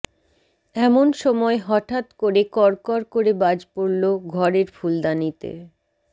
এমন সময় হঠাত্ করে কড়কড় করে বাজ পড়ল ঘরের ফুলদানিতে